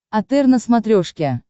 отр на смотрешке